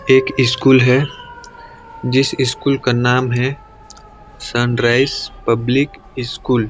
एक स्कूल हैं जिस स्कूल का नाम हैं सनराइज पब्लिक स्कूल ।--